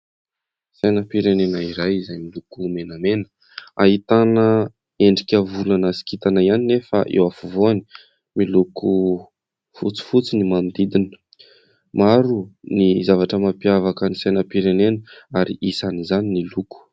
Sainam-pirenena iray izay miloko menamena. Ahitana endrika volana sy kintana ihany nefa eo afovoany. Miloko fotsifotsy ny manodidina. Maro ny zavatra mampiavaka ny sainam-pirenena ary isan' izany ny loko.